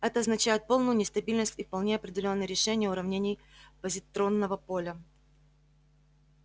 это означает полную нестабильность и вполне определённые решения уравнений позитронного поля